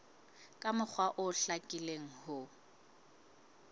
ka mokgwa o hlakileng ho